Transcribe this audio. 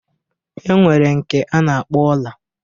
E nwere nke a na-akpọ ọla.